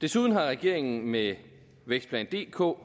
desuden har regeringen med vækstplan dk